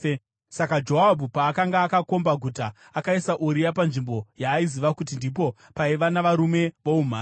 Saka Joabhu paakanga akakomba guta, akaisa Uria panzvimbo yaaiziva kuti ndipo paiva navarume voumhare.